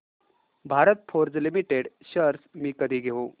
Bharat Forge Limited shares मी कधी घेऊ